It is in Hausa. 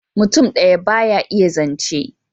Mutum daya ba ya iya zance